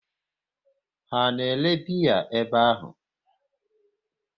Ha na ere biya ebe ahụ?